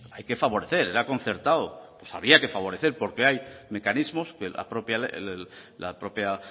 hay que favorecer era concertado pues había que favorecer porque hay mecanismos que la propia